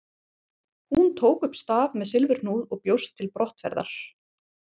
Hún tók upp staf með silfurhnúð og bjóst til brottferðar.